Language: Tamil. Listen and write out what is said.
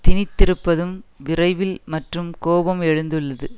திணித்திருப்பதும் விரைவில் மற்றும் கோபம் எழுந்துள்ளது